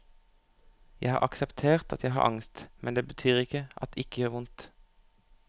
Jeg har akseptert at jeg har angst, men det betyr ikke at det ikke gjør vondt.